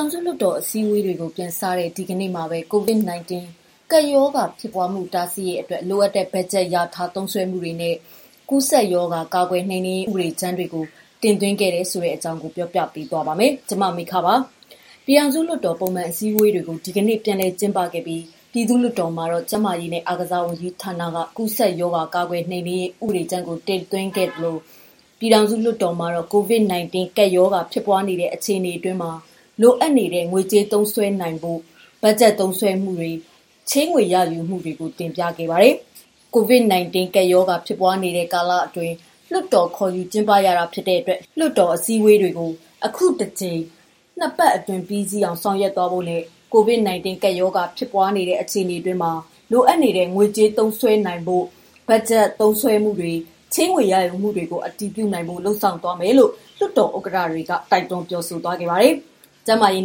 ောင်စုလွှတ်တော် အစည်းအဝေးတွေကို ပြန်စတဲ့ ဒီကနေ့မှာတော့ COVID-19 ကပ်ရောဂါပြန့်ပွားမှု တားဆီးရေးအတွက် လိုအပ်တဲ့ ဘတ်ဂျက်လျာထားသုံးစွဲမှုတွေနဲ့ ကူးစက်ရောဂါကာကွယ်နှိမ်နင်းရေး ဥပဒေကြမ်းတွေကို တင်သွင်းခဲ့တယ်ဆိုတဲ့ သတင်းကို ပြောပြပါမယ်။ ဒီအကြောင်း ဗွီအိုအေမြန်မာပိုင်းသတင်းထောက် မမေခက တင်ပြပေးထားပါတယ်။ ပြည်ထောင်စုလွှတ်တော် ပုံမှန်အစည်းအဝေး တွေကို ဒီကနေ့ ပြန်လည်ကျင်းပပြီး ပြည်သူ့ လွှတ်တော်မှာတော့ ကျန်းမာရေးနဲ့ အားကစားဝန်ကြီးဌာနက “ကူးစက်ရောဂါ ကာကွယ်နှိမ်နင်းရေး ဥပဒေကြမ်း” ကို တင်သွင်းခဲ့သလို ပြည်ထောင်စုလွှတ်တော်မှာတော့ COVID-19 ကပ်ရောဂါ ဖြစ်ပွားနေတဲ့ အခြေအနေအတွင်းမှာ လိုအပ်နေတဲ့ ငွေကြေးသုံးစွဲနိုင်ဖို့ ဘတ်ဂျက်သုံးစွဲမှုတွေ၊ ချေးငွေရယူမှုတွေကို တင်ပြခဲ့ပါတယ်။ COVID-19 ကပ်ရောဂါ ဖြစ်ပွားနေတဲ့ ကာလအတွင်း လွှတ်တော်ခေါ်ယူ ကျင်းပရတဲ့အတွက် လွှတ်တော်အစည်းအဝေးတွေကို အခုတကြိမ် နှစ်ပတ်အတွင်း ပြီးစီးအောင် ဆောင်ရွက်သွားဖို့နဲ့ COVID-19 ကပ်ရောဂါ ဖြစ်ပွားနေတဲ့ အခြေအနေအတွင်းမှာ လိုအပ်နေတဲ့ ငွေကြေးသုံးစွဲနိုင်ဖို့ ဘတ်ဂျက်သုံးစွဲမှုတွေ၊ ချေးငွေရယူမှုတွေကို အတည်ပြုနိုင်ဖို့ လုပ်ဆောင်သွားဖို့ လွှတ်တော် ဥက္ကဋ္ဌတွေကတိုက်တွန်း ပြောဆိုခဲ့ပါတယ်။ ကျန်းမာရေး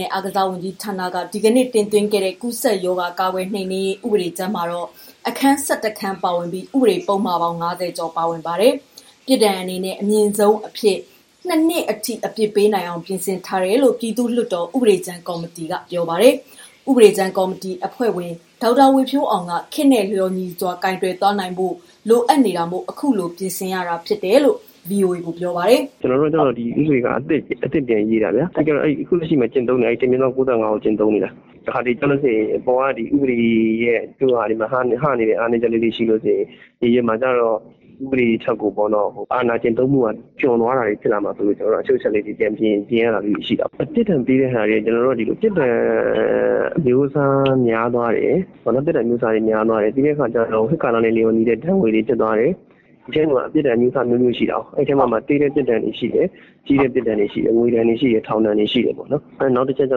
နဲ့ အားကစားဝန်ကြီးဌာနက ဒီကနေ့ တင်သွင်းတဲ့ “ကူးစက်ရောဂါ ကာကွယ်နှိမ်နင်းရေး ဥပဒေကြမ်း” မှာ အခန်း ၁၁ ခန်း ပါဝင်ပြီး ဥပဒေပုဒ်မပေါင်း ၅၀ ကျော်ပါဝင်ပါတယ်။ ပြစ်ဒဏ်အနေနဲ့ အမြင့်ဆုံးအနေနဲ့ ၂ နှစ်အထိ အပြစ်ပေးနိုင်အောင် ပြင်ဆင်ထားတယ်လို့ ပြည်သူ့လွှတ်တော်ဥပဒေကြမ်း ကော်မတီကပြောပါတယ်။ ဥပဒေကြမ်းကော်မတီ အဖွဲ့ဝင် ဒေါက်တာဝေဖြိုးအောင်က ခေတ်နဲ့ လျော်ညီစွာကိုင်တွယ်သွားနိုင်ဖို့ လိုအပ်တာမို့ အခုလို ပြင်ဆင်တာဖြစ်တယ်လို့ ပြောပါတယ်။ "ဒီဥပဒေက အသစ်ပြန်ပြင်ရေးတာ၊ အခုလက်ရှိက ၁/ ၉၅ ကို ကျင့်သုံးနေတာ။ တခါတလေကျရင် ဥပဒေရဲ့ ဟနေတဲ့ အားနည်းချက်တွေရှိရင် မြေပြင်မှာလုပ်ရတာ ကျတော့ ဥပဒေထက်အာဏာကျင့်သုံးတာ ကျွံသွားတာမျိုးတွေဖြစ်လာမှာစိုးလို့ ကျနော်တို့က အချို့အချက်လေးတွေ ပြင်ရတာမျိုးတွေ ရှိတယ်။ ပြစ်ဒဏ်အမျိုးအစား များသွားတယ်။ ပြီးတဲ့အခါကျတော့ ခေတ်ကာလနဲ့ လျော်ညီတဲ့ ဒဏ်ငွေတွေဖြစ်သွားတယ်။ ပြစ်ဒဏ်အမျိုးအစား နှစ်မျိုးရှိတာကိုး။ အဲ့ထဲမှာ သေးတဲ့ ပြစ်ဒဏ်တွေရှိတယ်၊ ကြီးတဲ့ ပြစ်ဒဏ်တွေရှိတယ်။ ငွေဒဏ်ရှိတယ်၊ ထောင်ဒဏ် ရှိတယ်။ နောက်တချက်ကျ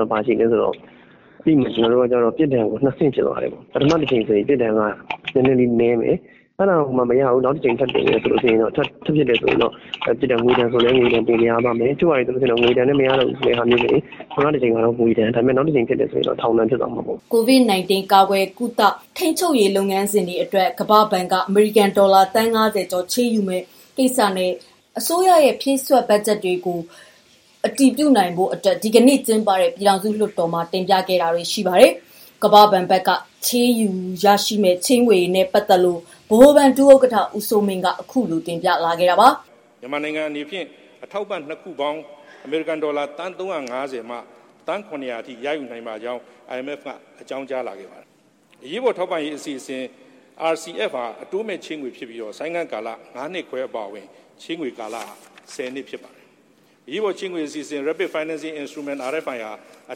တော့ ဘာရှိသလဲဆိုတော့ ပြစ်ဒဏ်ကို နှစ်ဆင့်ဖြစ်သွားတယ်။ ပထမတကြိမ်ဆိုရင် ပြစ်ဒဏ်က နည်းနည်းလေးနည်းမယ်။ အဲ့ဒါကိုမှ မရဘူး... နောက်တကြိမ် ထပ်ဖြစ်မယ်ဆိုရင်တော့ ပြစ်ဒဏ် ငွေဒဏ်ဆိုလည်း ငွေဒဏ်၊ တချို့ဟာတွေမှာ ငွေဒဏ်နဲ့မရတော့ဘူးဆိုရင် ပထမတကြိမ်မှာ ငွေဒဏ်၊ နောက်တကြိမ် ဖြစ်တယ်ဆိုရင်တော့ ထောင်ဒဏ်ဖြစ်သွားမှာပေါ့။" COVID-19 ကာကွယ်ကုသ ထိန်းချုပ်ရေးလုပ်ငန်းတွေအတွက် ကမ္ဘာ့ဘဏ်က အမေရိကန် ဒေါ်လာသန်း ၅၀ ချေးယူမယ့် ကိစ္စနဲ့ အစိုးရရဲ့ ဖြည့်စွက်ဘတ်ဂျက်ကိုလည်း ဒီကနေ့ ကျင်းပတဲ့ ပြည်ထောင်စုလွှတ်တော်မှာ တင်ပြခဲ့တာတွေ ရှိပါတယ်။ ကမ္ဘာ့ဘဏ်ဘက်က ချေးငွေရယူနိုင်ဖို့ အတွက် ဗဟိုဘဏ် ဒုဥက္ကဋ္ဌ ဦးစိုးမင်းက အခုလိုတင်ပြခဲ့တာပါ။ "မြန်မာနိုင်ငံအနေနဲ့ အထောက်ပံ့ ၂ ခုပေါင်း အမေရိကန်ဒေါ်လာ သန်း ၃၅၀ မှ ၇၀၀ အထိ ရယူနိုင်ပါကြောင်း အကြောင်း ကြားလာခဲ့ပါတယ်။ အရေးပေါ်ထောက်ပံ့ငွေက အတိုးမဲ့ ချေးတာဖြစ်ပြီးတော့ ဆိုင်းငံ့ကာလ ၅ နှစ်ခွဲအပါအဝင် ချေးငွေ ကာလ ၁၀ နှစ်ဖြစ်ပါတယ်။ အရေးပေါ်ချေးငွေအစီအစဉ် RFI ဟာ အ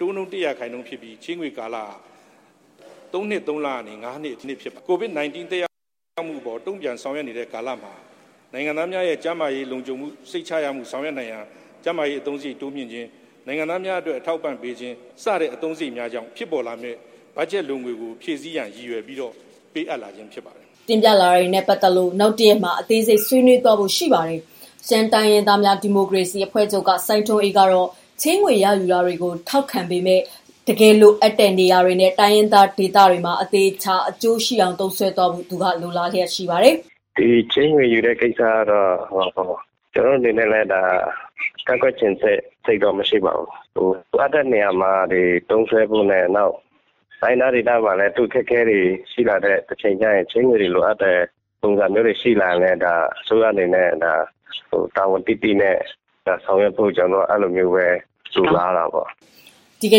တိုးနှုန်း ၁ ရာခိုင်နှုန်းဖြစ်ပြီး ချေးငွေကာလက ၃ နှစ်ကနေ ၅ နှစ်ဖြစ်ပါတယ်။ COVID-19 သက်ရောက်မှုကို တုံ့ပြန်ဆောင်ရွက်နေတဲ့ကာလမှာ နိုင်ငံသားများရဲ့ ကျန်းမာရေးလုံခြုံမှု စိတ်ချရမှု ဆောင်ရွက်နိုင်ရန် ကျန်းမာရေးအသုံးစရိတ် တိုးမြှင့်ခြင်း၊ နိုင်ငံသားများအတွက် အထောက်အပံ့ပေးခြင်း စတဲ့အသုံးစရိတ်များကြောင့် ဖြစ်ပေါ်လာမယ့် ဘတ်ဂျက်လိုငွေကို ဖြည့်ဆည်းရန် ရည်ရွယ်ပြီးတော့ ပေးအပ်လာခြင်း ဖြစ်ပါတယ်။" တင်ပြလာတာတွေနဲ့ ပတ်သတ်လို့ နောက်တရက်မှာ အသေးစိတ် ဆွေးနွေးသွားဖို့ ရှိပါတယ်။ ရှမ်းတိုင်းရင်းသားများ ဒီမိုကရေစီ အဖွဲ့ချုပ်က စိုင်းထွန်းအေးကတော့ ချေးငွေရယူတာတွေကို ထောက်ခံပေမယ့် တကယ်လိုအပ်တဲ့ နေရာတွေနဲ့ တိုင်းရင်းသားဒေသတွေအတွက် အသေအချာ အကျိုးရှိအောင်သုံးစွဲဖို့ သူက လိုလားနေပါတယ်။ "ဒီ ချေးငွေ ယူတဲ့ ကိစ္စကတော့ ကျနော့်အနေနဲ့လည်း ဒါ ကန့်ကွက်ချင်တဲ့ စိတ်တော့ မရှိပါဘူး။ လိုအပ်တဲ့နေရာမှာ သုံးစွဲဖို့နဲ့ နောက် တိုင်းရင်းသားဒေသမှာလည်း အခက်အခဲတွေရှိလာတဲ့ တချိန်ကျရင် ချေးငွေတွေ လိုအပ်တဲ့ ပုံစံမျိုးတွေ ရှိလာခဲ့ရင် အစိုးရအနေနဲ့ ဒါ တာဝန်သိသိနဲ့ ဆောင်ရွက်ဖို့ ကျနော်တော့ အဲ့ဒီလိုမျိုးပဲ လိုလားတာပေါ့။" ဒီက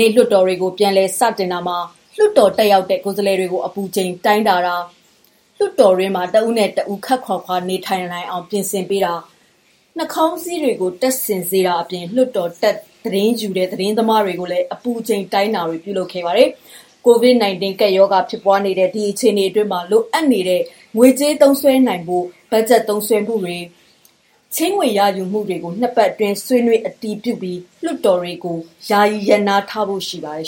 နေ့ လွှတ်တော်တွေကို ပြန်လည်စတင်တာမှာ လွှတ်တော် တက်ရောက်တဲ့ ကိုယ်စားလှယ်တွေကို အပူချိန်စစ်ဆေးခြင်း လွှတ်တော်ထဲတွင် တစ်ဦးနဲ့ တစ်ဦး ခပ်ခွာခွာ နေထိုင်နိုင်ရန်ထားခြင်း၊ နှခေါင်းစည်းများ တပ်ဆင်စေတာအပြင် လွှတ်တော်တက် သတင်းယူတဲ့ သတင်းသမားတွေကိုလည်း အပူချိန်တိုင်းတာတွေ ပြုလုပ်ခဲ့ပါတယ်။ COVID-19 ကပ်ရောဂါ ဖြစ်ပွားနေတဲ့ အခြေအနေအတွင်းမှာ လိုအပ်နေတဲ့ ငွေကြေးသုံးစွဲနိုင်ဖို့ ဘတ်ဂျက်သုံးစွဲမှုတွေ၊ ချေးငွေရယူမှုတွေကို နှစ်ပတ်အတွင်း ဆွေးနွေးအတည်ပြုပြီး လွှတ်တော်တွေ ယာယီရပ်နားထားဖို့ ရှိပါတယ်